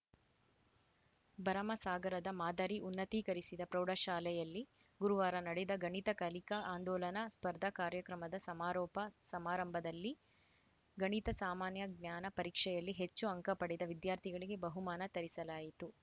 ಭರಮಸಾಗರದ ಮಾದರಿ ಉನ್ನತೀಕರಿಸಿದ ಪ್ರೌಢಶಾಲೆಯಲ್ಲಿ ಗುರುವಾರ ನಡೆದ ಗಣಿತ ಕಲಿಕಾ ಆಂದೋಲನ ಸ್ಪರ್ಧಾ ಕಾರ್ಯಕ್ರಮದ ಸಮಾರೋಪ ಸಮಾರಂಭದಲ್ಲಿ ಗಣಿತ ಸಾಮಾನ್ಯ ಜ್ಞಾನ ಪರಿಕ್ಷೆಯಲ್ಲಿ ಹೆಚ್ಚು ಅಂಕ ಪಡೆದ ವಿದ್ಯಾರ್ಥಿಗಳಿಗೆ ಬಹುಮಾನ ತರಿಸಲಾಯಿತು